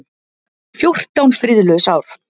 Fjórtán friðlaus ár.